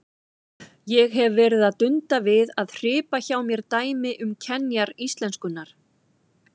Ég hef verið að dunda við að hripa hjá mér dæmi um kenjar íslenskunnar.